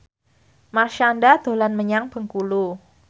Marshanda dolan menyang Bengkulu